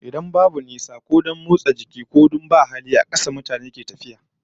Idan babu nisa, ko don motsa jiki, ko don babu hali, a kafar mutane suke tafiyar su zuwa inda suke so, har da garuruwa